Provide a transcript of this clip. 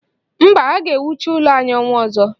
Mba, a ga-ewucha ụlọ anyị ọnwa ọzọ.